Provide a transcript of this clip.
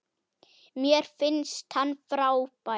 Mér finnst hann frábær.